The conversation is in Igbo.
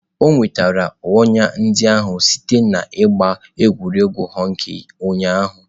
O nwetara ọnya ndị ahụ site n'ịgba egwuregwu hockey ụnyahụ.